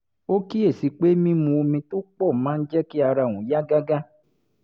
ó kíyè sí i pé mímu omi tó pọ̀ máa ń jẹ́ kí ara òun yá gágá